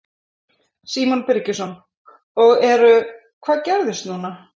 Símon Birgisson: Og eru, hvað gerist núna?